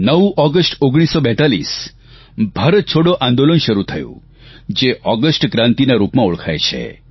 9 August 1942 Bharat છોડો આંદોલન શરૂ થયું જે ઓગષ્ટ ક્રાંતિ ના રૂપમાં ઓળખાય છે